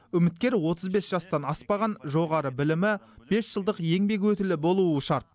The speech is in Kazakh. үміткер отыз бес жастан аспаған жоғары білімі бес жылдық еңбек өтілі болуы шарт